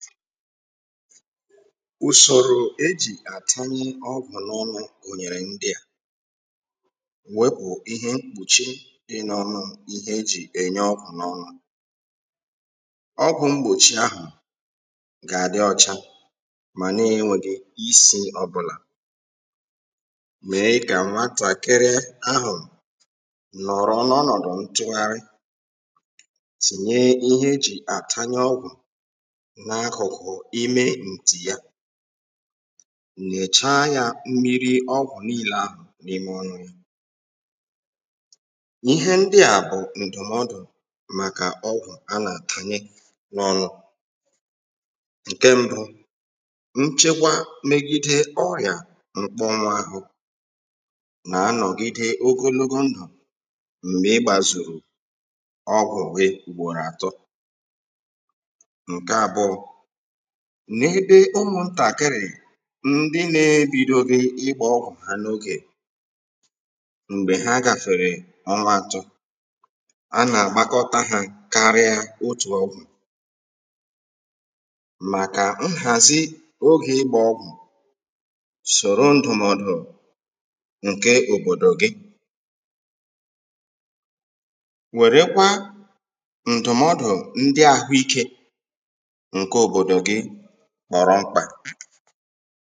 ùsòrò e jì àtanye ọgwụ̀ n’ọnụ̄ gụ̀nyèrè ndị à wepụ ihe mkpùchi dị n’ọnụ ihe e jì ènye ọgwụ̀ n’ọnụ̄ ọgwụ̀ mgbòchi ahụ̀ ga-adị ọcha mà na enwēghi isì ọbụlà mèe kà nwatakịrị ahù nọ̀rọ̀ n’ọnọdụ̀ ntụgharị tìnye ihe e jì àtanye ọgwụ̀ n’akụkụ ime ntì ya nyèchaa ya mmiri ọgwụ̀ niilē ahụ̀ n’ime ọnụ̄ ihe ndị à bụ̀ ǹdụ̀mọdù ihe ndị à bụ̀ ǹdụ̀mọdù ṅ̀ke mbụ nchekwa megide órịà mkpọnwụ āhụ̄ nà anọ̀gide ogologo ndụ̀ m̀gbè i gbazùrù ọgwụ̀ gị ùgbòrò atọ̀ ṅke abụọ̄ n’ebe ụmụ̀ntàkịrị̀ ndị na-ebidoghi ìgbā ọgwụ̀ ha n’ogè m̀gbè ha gafèrè ọnwa atọ a nà-àgbakọta ha karịa otù ọgwụ màkà nhàzi ogè ị̣gba ọgwụ̀ sòro ndụmọdụ ǹke òbòdò gị wère kwa ǹdụmọdụ ndị ahụike ṅke òbòdò gị kpọ̀rọ mkpà